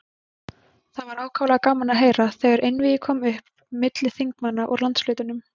Það var ákaflega gaman að heyra, þegar einvígi kom upp milli þingmanna úr landshlutunum.